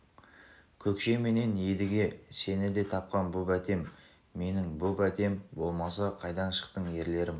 көкше менен едіге сені де тапқан бұ бәтем менің бұ бәтем болмаса қайдан шықтың ерлерім